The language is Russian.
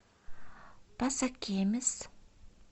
пасакемис